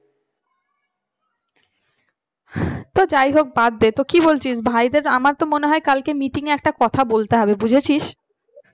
তো যাই হোক বাদ দে তো কি বলছিস ভাইদের আমার তো মনে হয় কালকে meeting একটা কথা বলতে হবে বুঝেছিস